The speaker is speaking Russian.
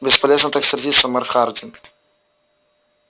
бесполезно так сердиться мэр хардин